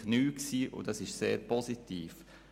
Das war neu, und es war sehr positiv.